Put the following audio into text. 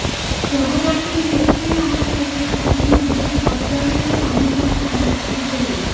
शहरातील नेप्ती नाका येथे काही नागरिक हातगाडीवर पाणीपुरी खाण्यासाठी गेलेे